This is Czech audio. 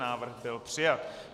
Návrh byl přijat.